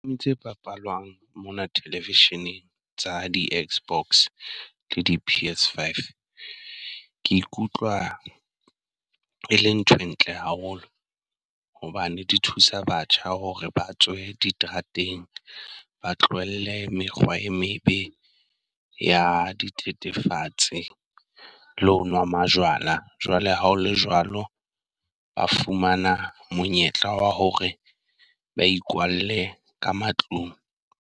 E itse papalwang mona television-eng tsa di-Xbox le di-PS5, Ke ikutlwa e le nthwe ntle haholo hobane di thusa batjha hore ba tswe diterateng, ba tlohelle mekgwa e mebe ya dithethefatsi. Le ho wa majwala jwale ha o le jwalo ba fumana monyetla wa hore ba ikwalle ka matlung.